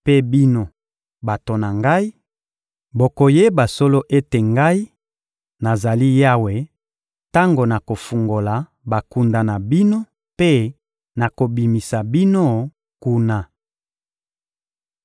Mpe bino, bato na Ngai, bokoyeba solo ete Ngai, nazali Yawe, tango nakofungola bakunda na bino mpe nakobimisa bino kuna!